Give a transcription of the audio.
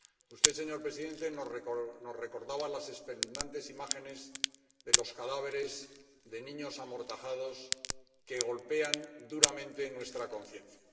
Usted, señor presidente, nos recordaba las espeluznantes imágenes de los cadáveres de niños amortajados que golpean duramente nuestra conciencia.